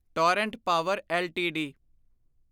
Torrent Power LTD